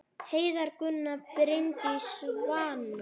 Heiða, Gunnar, Bryndís og Svanur.